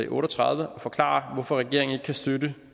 otte og tredive og forklare hvorfor regeringen ikke kan støtte det